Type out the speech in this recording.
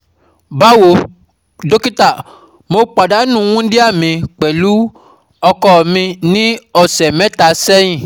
Bawo, dókítà, mo pàdánù wundia mi pẹ̀lú ọkọ mi ní ọ̀sẹ̀ mẹ́ta sẹ́yìn